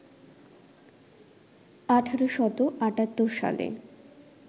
১৮৭৮ সালে